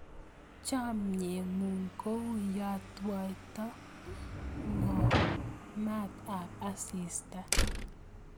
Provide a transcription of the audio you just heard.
Chomye ng'ung' kou yetwaitoi ng'ony maat ap asista.